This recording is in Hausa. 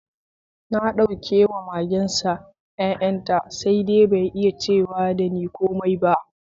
Na dauke wa magensa yayanta, sai dai bai iya cew da ni komai ba.